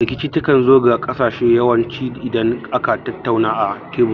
Rikici ta kan zo ga ƙarshe yawan ci idan aka tattauna a tebur